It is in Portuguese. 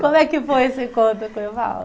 Como é que foi esse encontro com o Evaldo?